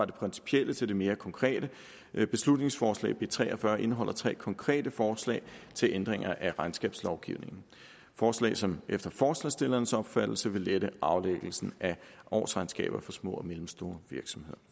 principielle til det mere konkrete beslutningsforslag b tre og fyrre indeholder tre konkrete forslag til ændringer af regnskabslovgivningen forslag som efter forslagsstillernes opfattelse vil lette aflæggelsen af årsregnskaber for små og mellemstore virksomheder